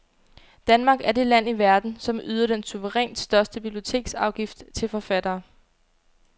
Danmark er det land i verden, som yder den suverænt største biblioteksafgift til forfattere.